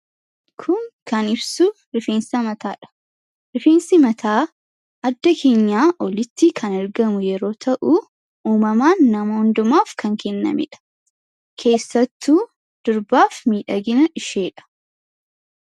Kun kan ibsu rifeensa mataa dha. Rifeensi mataa adda keenyaa olitti kan argamu yammuu ta'u; uumamaan nama hundumaaf kan kennameedha. Keessattuu durbaaf miidhagina ishee dha.